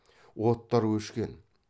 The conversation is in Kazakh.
оттар өшкен